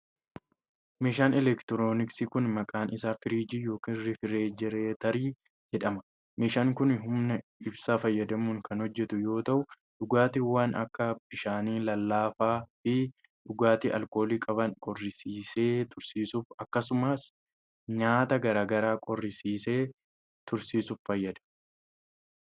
Meeshaan elektirooniksii kun, maqaan isaa firiijii yokin rifrijireetarii jedhama. Meeshaan kun humna ibsaa fayyadamuun kan hojjatu yoo ta'u, dhugaatiiwwan akka bishaanii ,lallaafaa fi dhugaatii alkoolii qaban qorrisiisee tursiisuuf akkasumas nyaata garaa garaa qorrisiisee tursiisuuf fayyada.